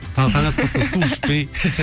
таң таң атпастан су ішпей